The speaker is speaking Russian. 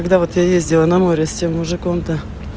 когда вот я ездила на море с тем мужиком то